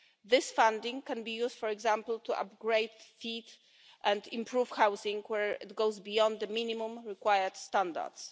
This funding can be used, for example, to upgrade, fit and improve housing where it goes beyond the minimum required standards.